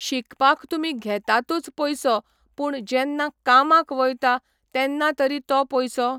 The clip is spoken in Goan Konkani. शिकपाक तुमी घेतातूच पयसो पूण जेन्ना कामाक वयता तेन्ना तरी तो पयसो